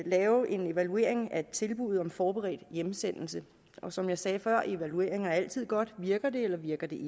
lave en evaluering af et tilbud om forberedt hjemsendelse og som jeg sagde før er evalueringer altid godt virker det eller virker det